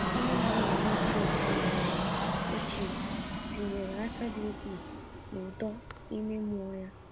Nne na nna ya ochie tinyere ya ochie tinyere aka dị ukwuu n’uto ime mmụọ ya.